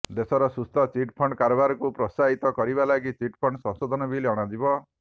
ଦେଶର ସୁସ୍ଥ ଚିଟ୍ଫଣ୍ଡ୍ କାରବାରକୁ ପ୍ରୋତ୍ସାହିତ କରିବା ଲାଗି ଚିଟ୍ଫଣ୍ଡ ସଂଶୋଧନ ବିଲ୍ ଅଣାଯିବ